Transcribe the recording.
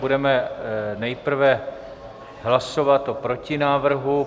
Budeme nejprve hlasovat o protinávrhu.